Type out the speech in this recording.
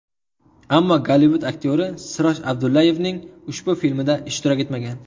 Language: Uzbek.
Ammo Gollivud aktyori Siroj Abdullayevning ushbu filmida ishtirok etmagan.